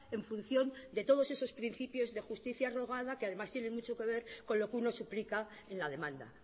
en función de todos esos principios de justicia rogada que además tienen mucho que ver con lo que uno suplica en la demanda